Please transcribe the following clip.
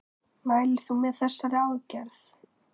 Mælir þú með þessari aðgerð?